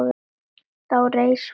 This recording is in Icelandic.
Þá reis von